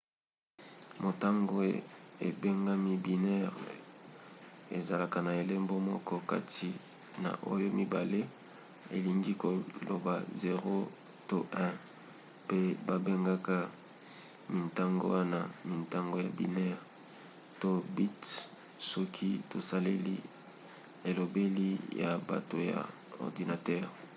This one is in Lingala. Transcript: motango ebengami binaire ezalaka na elembo moko kati na oyo mibale elingi koloba 0 to 1 pe babengaka mintango wana mintango ya binaire - to bits soki tosaleli elobeli ya bato ya ordinatere